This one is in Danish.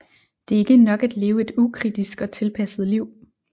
Det er ikke nok at leve et ukritisk og tilpasset liv